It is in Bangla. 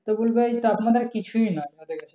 তো বলছে এই তাপমাত্রা কিছুই না আমাদের কাছে।